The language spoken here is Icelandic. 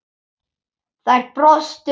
Þær brostu báðar.